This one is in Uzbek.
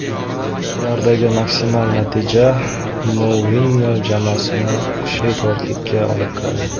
Ulardagi maksimal natija Mourinyo jamoasini kuchli to‘rtlikka olib kiradi.